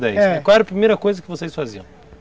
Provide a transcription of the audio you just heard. E qual era a primeira coisa que vocês faziam?